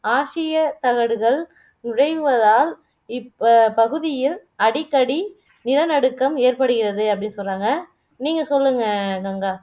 ஆசிய தகடுகள் உடைவதால் இப் அஹ் பகுதியில் அடிக்கடி நிலநடுக்கம் ஏற்படுகிறது அப்படி சொல்லுறாங்க நீங்க சொல்லுங்க கங்கா